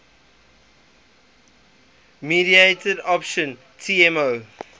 mediated option tmo